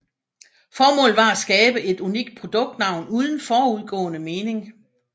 Formålet var at skabe et unikt produktnavn uden forudgående mening